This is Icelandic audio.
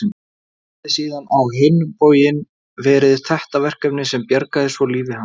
Það hefði síðan á hinn bóginn verið þetta verkefni sem bjargaði svo lífi hans.